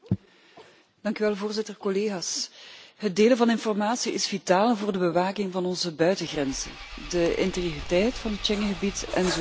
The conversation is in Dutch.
Het delen van informatie is vitaal voor de bewaking van onze buitengrenzen, voor de integriteit van het Schengengebied en zodoende ook voor het waarborgen van onze veiligheid.